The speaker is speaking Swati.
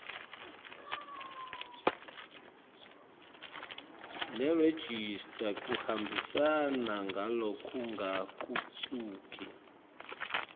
nerejista kuhambisana ngalokungagucuki